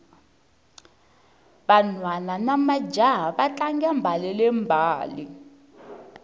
vanhwana namajaha va tlanga mbalele mbale